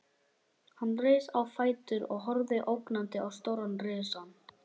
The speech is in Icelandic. Hann reis á fætur og horfði ógnandi á stóran risann.